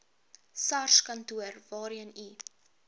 sarskantoor waarheen u